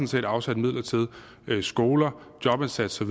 set afsat midler til skoler jobindsats og